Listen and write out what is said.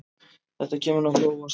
Þetta kemur nokkuð á óvart.